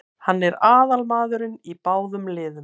Hann er aðalmaðurinn í báðum liðum.